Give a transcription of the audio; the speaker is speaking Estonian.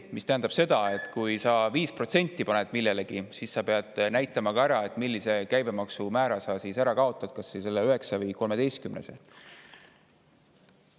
See tähendab seda, et kui sa 5% millelegi, siis sa pead näitama ka, millise käibemaksumäära sa ära kaotad, kas selle 9% või 13%.